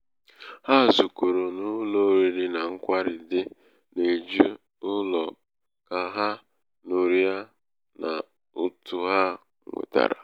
ha zukọrọ n'ụlọ oriri na nkwari dị n'eju ụlọ ka ha ka ha ñụrịa n'ụtụ ha nwetara.